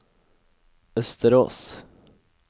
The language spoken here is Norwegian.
Østerås